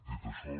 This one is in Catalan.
dit això